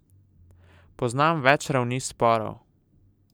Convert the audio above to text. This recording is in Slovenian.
Poznam več ravni sporov.